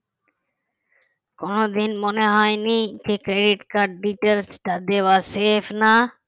কোনদিন মনে হয়নি যে credit card details টা দেওয়া safe না